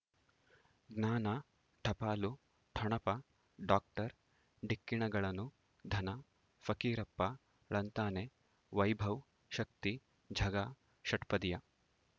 ಜ್ಞಾನ ಟಪಾಲು ಠೊಣಪ ಡಾಕ್ಟರ್ ಢಿಕ್ಕಿ ಣಗಳನು ಧನ ಫಕೀರಪ್ಪ ಳಂತಾನೆ ವೈಭವ್ ಶಕ್ತಿ ಝಗಾ ಷಟ್ಪದಿಯ